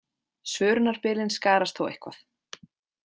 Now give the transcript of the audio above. Svörunarbilin skarast þó eitthvað.